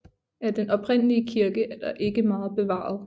Af den oprindelige kirke er der ikke meget bevaret